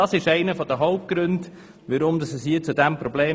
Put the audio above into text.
Dies ist einer der Hauptgründe für dieses Problem.